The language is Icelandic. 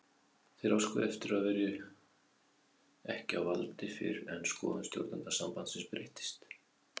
Þeir óskuðu eftir að vera ekki valdir fyrr en skoðun stjórnenda sambandsins breyttist.